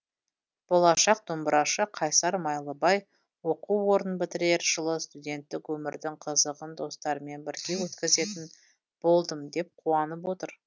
болашақ домбырашы қайсар майлыбай оқу орнын бітірер жылы студенттік өмірдің қызығын достарыммен бірге өткізетін болдым деп қуанып отыр